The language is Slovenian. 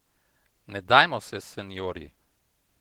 Ne dajmo se, seniorji!